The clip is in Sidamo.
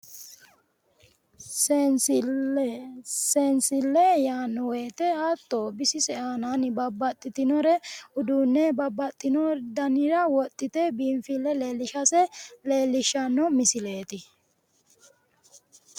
Seensille, Seensille yaanno woyiite hatto bisise aanaanni babbaxxitinore uduunne babbaxxino danire wodhite biinfille leellishase leellishshanno misileeti.